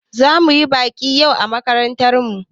Za mu yi baƙi yau a makarantar mu.